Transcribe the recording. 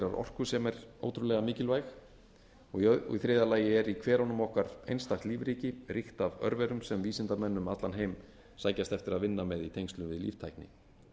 orku sem er ótrúlega mikilvæg og í þriðja lagi er í hverunum okkar einstakt lífríki ríkt af örverum sem vísindamenn um allan heim sækjast eftir að vinna með í tengslum við líftækni